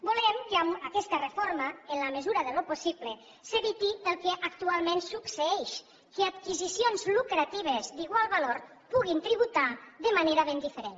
volem que amb aquesta reforma en la mesura del possible s’eviti el que actualment succeeix que adquisicions lucratives d’igual valor puguin tributar de manera ben diferent